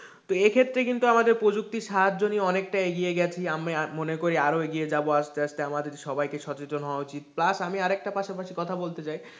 তো এ ক্ষেত্রে কিন্তু প্রযুক্তির সাহায্য নিয়ে অনেকটা এগিয়ে গেছি আমি মনে করি আমি আরো এগিয়ে যাবো আস্তে আস্তে আমাদের সবাইকে সচেতন হওয়া উচিৎ, plus আমি আরেকটা পাশাপাশি কথা বলতে চাই,